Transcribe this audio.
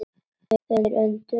Þeir önduðu léttar.